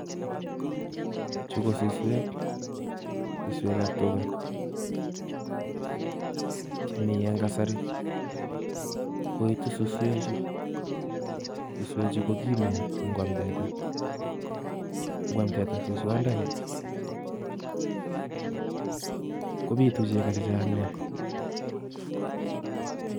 Chu KO suswek ab tugaa, chemi en kasari. Koitu suswechu, suswechu KO kiimeen ingwam teta. Ingwam teta suswandoni kobiitu cheko chechang nia